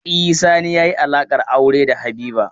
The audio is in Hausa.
E, Sani yi alaƙar aure da Habiba.